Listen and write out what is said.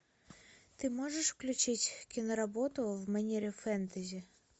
ты можешь включить киноработу в манере фэнтези